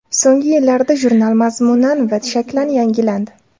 So‘nggi yillarda jurnal mazmunan va shaklan yangilandi.